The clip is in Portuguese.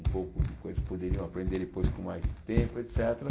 um pouco do que eles poderiam aprender depois com mais tempo, et cétera.